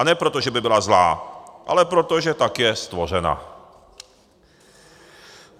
A ne proto, že by byla zlá, ale proto, že tak je stvořena.